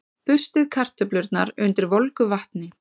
Burstið kartöflurnar undir volgu vatni.